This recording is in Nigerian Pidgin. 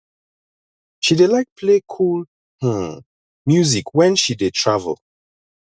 she dey like play cool um music wen she dey travel